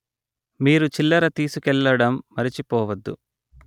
మీరు చిల్లర తిసుకెళ్ళడం మరిచిపొవద్దు